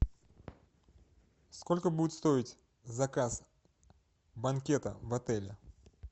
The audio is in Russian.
сколько будет стоить заказ банкета в отеле